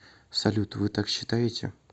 салют вы так считаете